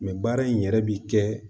baara in yɛrɛ bi kɛ